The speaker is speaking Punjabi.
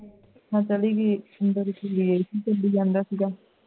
ਮੈਂ ਚਲੀ ਗਈ ਮੇਰਾ ਸਿਰ ਵੀ ਘੁੰਮੀ ਜਾਂਦਾ ਸੀ ਗਾ